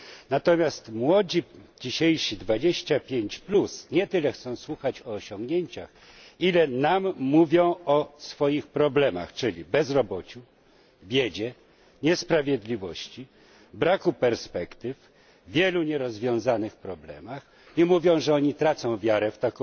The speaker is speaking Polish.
Natomiast dzisiejsi młodzi 25 nie tyle chcą słuchać o osiągnięciach, ile nam mówią o swoich problemach, czyli bezrobociu, biedzie, niesprawiedliwości, braku perspektyw, wielu nierozwiązanych problemach, i mówią, że oni tracą wiarę